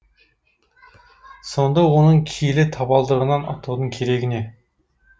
сонда оның киелі табалдырығынан аттаудың керегі не